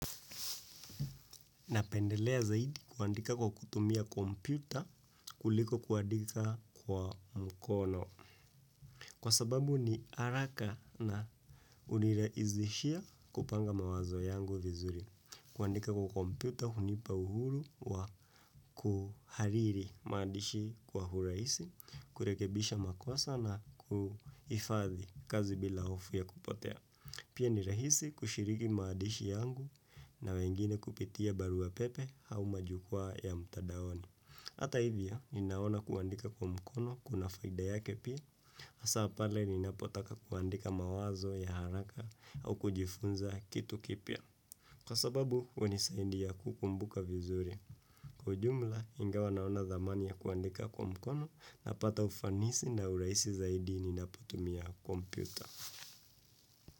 Napendelea zaidi kuandika kwa kutumia kompyuta kuliko kuandika kwa mkono. Kwa sababu ni haraka na hunirahizishia kupanga mawazo yangu vizuri. Kuandika kwa kompyuta hunipa uhuru wa kuhariri maadishi kwa urahisi, kurekebisha makosa na kuhifadhi kazi bila hofu ya kupotea. Pia ni rahisi kushiriki maadishi yangu na wengine kupitia barua pepe au majukwaa ya mtandaoni. Hata hivyo, ninaona kuandika kwa mkono kuna faida yake pia. Hasa pale ninapotaka kuandika mawazo ya haraka au kujifunza kitu kipya. Kwa sababu hunisaidia kukumbuka vizuri. Kwa ujumla, ingawa naona thamani ya kuandika kwa mkono napata ufanisi na urahisi zaidi ninapotumia kompyuta.